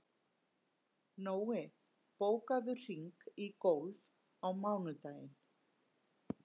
Nói, bókaðu hring í golf á mánudaginn.